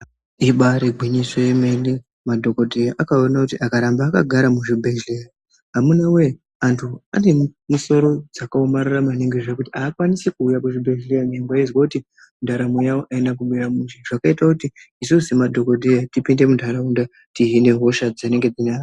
Ibari gwinyiso yemene, madhokodheya akaona kuti akaramba akagara muzvibhedhleya, amuna wee antu ane misoro dzakaomarara maningi zvekuti haakwanisi kuuya kuzvibhedhleya, nyange aizwe kuti ndaramo yawo haina kumira mushe, zvakaita kuti isusu semadhokodheya tipinde muntaraunda tihine hosha dzinenga dzine vantu.